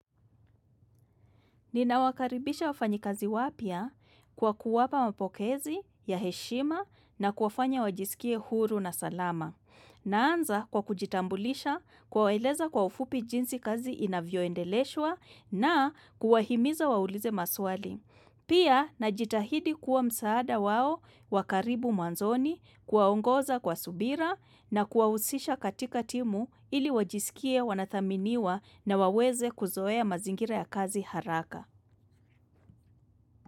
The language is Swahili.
Nina wakaribisha wafanyi kazi wapya kwa kuwapa mapokezi ya heshima na kuwafanya wajisikie huru na salama. Naanza kwa kujitambulisha kwaweleza kwa ufupi jinsi kazi inavyo endeleshwa na kuwahimiza waulize maswali. Pia na jitahidi kuwa msaada wao wakaribu mwanzoni kuwaongoza kwa subira na kuwausisha katika timu ili wajisikie wanathaminiwa na waweze kuzoea mazingira ya kazi haraka.